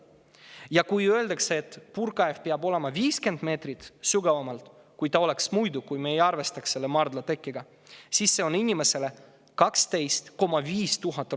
Ja kui öeldakse, et puurkaev peab olema 50 meetrit sügavam, kui ta oleks muidu – juhul kui me ei arvestaks maardla tekke võimalust –, siis on see inimestele 12 500 eurot kallim.